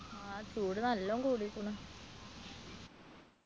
ആ ചൂട് നല്ലോ കൂടിയിരിക്കുണു